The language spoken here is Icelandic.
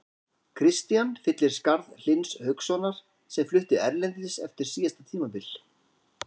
Kristian fyllir skarð Hlyns Haukssonar sem flutti erlendis eftir síðasta tímabil.